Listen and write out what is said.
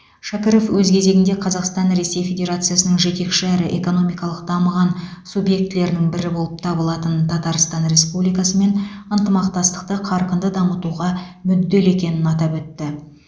шәкіров өз кезегінде қазақстан ресей федерациясының жетекші әрі экономикалық дамыған субъектілерінің бірі болып табылатын татарстан республикасымен ынтымақтастықты қарқынды дамытуға мүдделі екенін атап өтті